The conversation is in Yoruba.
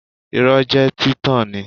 Irọ́ jẹ́ títan ni